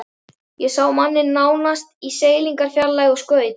Ég sá manninn nánast í seilingarfjarlægð og skaut.